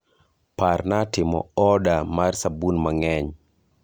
Parna timo oda mar sabun mang'eny